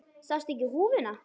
Sástu ekki húfuna?